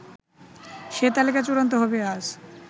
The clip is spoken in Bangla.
সে তালিকা চূড়ান্ত হবে আজ